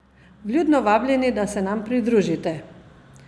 Vljudno vabljeni, da se nam pridružite!